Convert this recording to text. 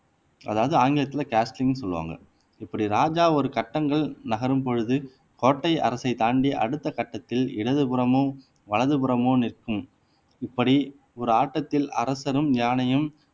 அதாவது ஆங்கிலத்துல காஸ்டிங்ன்னு சொல்லுவாங்க இப்படி ராஜா ஒரு கட்டங்கள் நகரும் பொழுது கோட்டை அரசை தாண்டி அடுத்த கட்டத்தில் இடது புறமோ வலது புறமோ நிற்கும் இப்படி ஒரு ஆட்டத்தில் அரசரும் யானையும்